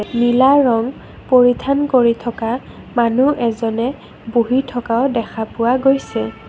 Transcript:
নীলা ৰং পৰিধান কৰি থকা মানুহ এজনে বহি থকাও দেখা পোৱা গৈছে।